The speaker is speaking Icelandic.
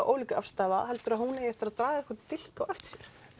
ólíka afstaða heldur þú að hún eigi eftir að draga einhvern dilk á eftir sér